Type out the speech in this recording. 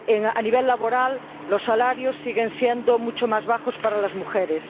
A nivel laboral, los salarios siguen siendo mucho más bajos para las mujeres.